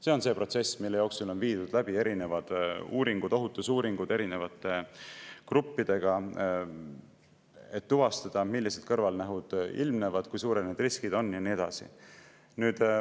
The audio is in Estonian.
See on protsess, mille jooksul on viidud läbi erinevad uuringud, kaasa arvatud ohutusuuringud erinevate gruppidega, et tuvastada, millised kõrvalnähud ilmnevad, kui suured riskid on, ja nii edasi.